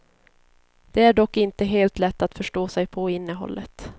Det är dock inte helt lätt att förstå sig på innehållet.